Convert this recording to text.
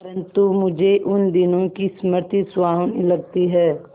परंतु मुझे उन दिनों की स्मृति सुहावनी लगती है